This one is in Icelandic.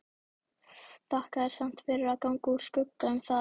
Þakka þér samt fyrir að ganga úr skugga um það.